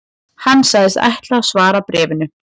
Hann sagðist ætla að svara bréfinu